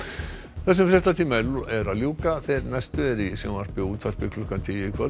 þessum fréttatíma er að ljúka þeir næstu eru í sjónvarpi og útvarpi klukkan tíu í kvöld